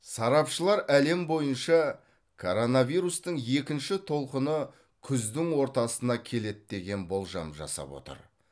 сарапшылар әлем бойынша коронавирустың екінші толқыны күздің ортасына келеді деген болжам жасап отыр